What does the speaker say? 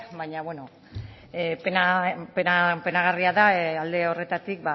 baina bueno penagarria da alde horretatik